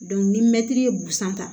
ni mɛtiri ye busan ta